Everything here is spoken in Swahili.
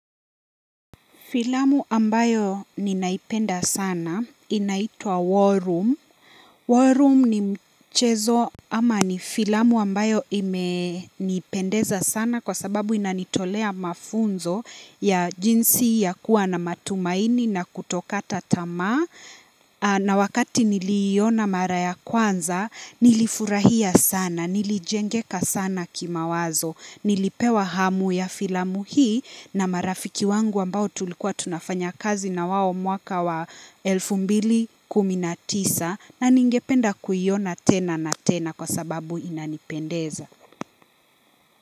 Filamu ambayo ninaipenda sana inaitwa "war room". "War room" ni mchezo ama ni filamu ambayo imenipendeza sana kwa sababu inanitolea mafunzo ya jinsi ya kuwa na matumaini na kutokata tamaa. Na wakati niliiona mara ya kwanza nilifurahia sana, nilijengeka sana kimawazo. Nilipewa hamu ya filamu hii na marafiki wangu ambao tulikuwa tunafanya kazi na wao mwaka wa elfu mbili kumi na tisa na ningependa kuiona tena na tena kwa sababu inanipendeza.